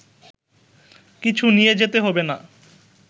কিছু নিয়ে যেতে হবে না